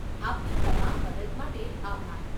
આપની તમામ મદદ માટે આભાર.